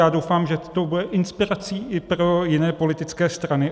Já doufám, že to bude inspirací i pro jiné politické strany.